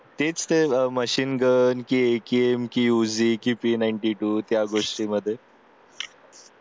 तेच ते machine जे आहे game keep A ninety two त्याच गोष्टीमध्ये